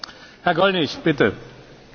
Monsieur le Président, je serai très bref.